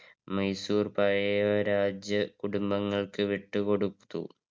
മൈസൂർ പഴയ രാജകുടുംബങ്ങള്ക്ക് വിട്ടു കൊടുത്തു.